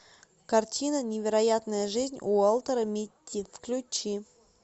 картина невероятная жизнь уолтера митти включи